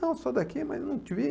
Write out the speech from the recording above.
Não, sou daqui, mas não te vi.